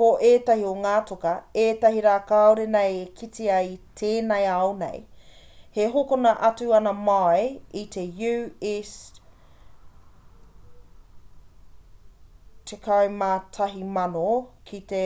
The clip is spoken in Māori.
ko ētahi o ngā toka ētahi rā kāore nei e kitea i tēnei ao nei e hokona atu ana mai i te us11,000 ki te